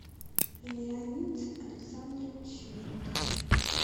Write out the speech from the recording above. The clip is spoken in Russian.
леонид александрович винтер